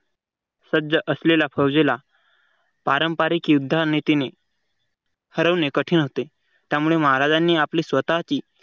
सज्ज असलेल्या फौजेला पारंपारिक युद्धाने हरवणे कठीण होते. त्यामुळे महाराजांनी आपली स्वतःची